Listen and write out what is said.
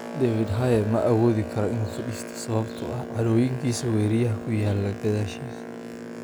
David Haye ma awoodi karo inuu fadhiisto, sababtoo ah cadhooyinka weriyaha ku yaalla gadaashiisa.